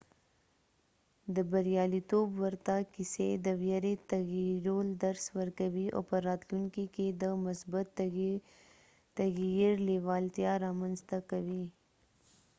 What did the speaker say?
د بریالیتوب ورته کیسې د ویرې تغییرول درس ورکوي او په راتلونکي کې د مثبت تغییر لیوالتیا رامنځته کوي